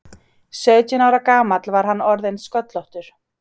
Sautján ára gamall var hann orðinn sköllóttur.